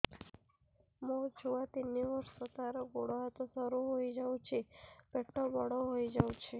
ମୋ ଛୁଆ ତିନି ବର୍ଷ ତାର ଗୋଡ ହାତ ସରୁ ହୋଇଯାଉଛି ପେଟ ବଡ ହୋଇ ଯାଉଛି